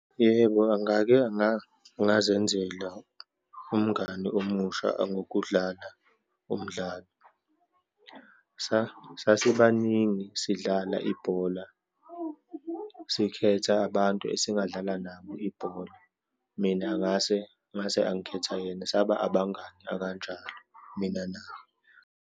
Yebo, ngake ngazenzela umngani omusha angokudlala umdlalo. Sasibaningi sidlala ibhola, sikhetha abantu esingadlala nabo ibhola. Mina ngase, ngase angikhetha yena, saba abangani akanjalo mina naye.